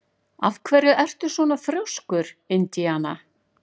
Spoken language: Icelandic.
Af hverju ertu svona þrjóskur, Indiana?